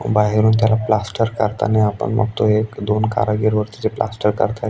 बाहेरून त्याला प्लास्टर करताना आपण बघतोय एक दोन कारागीर वरती जे प्लास्टर करतायत.